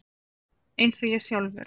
Eins og ég sjálfur.